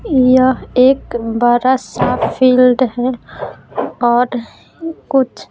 यह एक बड़ा सा फील्ड है और कुछ--